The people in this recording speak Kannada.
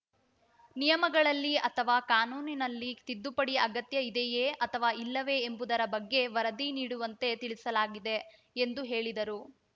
ನಿಯಮಗಳಲ್ಲಿ ಅಥವಾ ಕಾನೂನಿನಲ್ಲಿ ತಿದ್ದುಪಡಿ ಅಗತ್ಯ ಇದೆಯೇ ಅಥವಾ ಇಲ್ಲವೇ ಎಂಬುದರ ಬಗ್ಗೆ ವರದಿ ನೀಡುವಂತೆ ತಿಳಿಸಲಾಗಿದೆ ಎಂದು ಹೇಳಿದರು